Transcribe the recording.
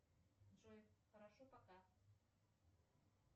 джой хорошо пока